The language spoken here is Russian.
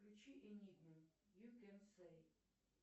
включи энигму ю кен сэй